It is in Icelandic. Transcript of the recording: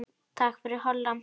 Takk fyrir, Holla.